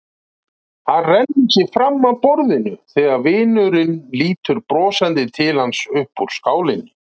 Hann rennir sér fram af borðinu þegar vinurinn lítur brosandi til hans upp úr skálinni.